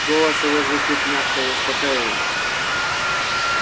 голос его звучит мягко и успокаивающе